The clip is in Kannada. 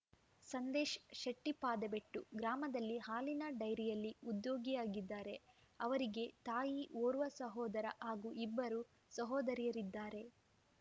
ಸಂದೇಶ್‌ ಶೆಟ್ಟಿಪಾದೆಬೆಟ್ಟು ಗ್ರಾಮದಲ್ಲಿ ಹಾಲಿನ ಡೈರಿಯಲ್ಲಿ ಉದ್ಯೋಗಿಯಾಗಿದ್ದಾರೆ ಅವರಿಗ ತಾಯಿ ಓರ್ವ ಸಹೋದರ ಹಾಗೂ ಇಬ್ಬರು ಸಹೋದರಿಯರಿದ್ದಾರೆ